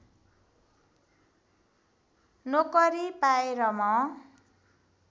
नोकरी पाएँ र म